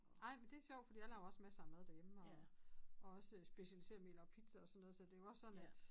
Ej men det sjovt fordi jeg aver også masser af mad derhjemme og og også specialiseret mel og pizza og sådan noget så det jo også sådan at